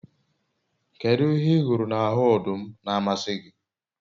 kedu ihe ihuru n'ahu odum n'amasi gi?